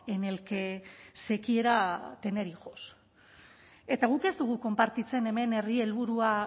en el que se quiera tener hijos eta guk ez dugu konpartitzen hemen herri helburua